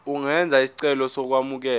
ungenza isicelo sokwamukelwa